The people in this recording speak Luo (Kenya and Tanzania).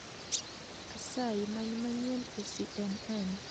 Asayi many manyien e c.n.n